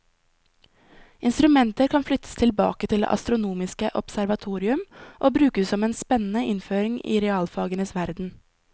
Instrumenter kan flyttes tilbake til det astronomiske observatorium og brukes som en spennende innføring i realfagenes verden.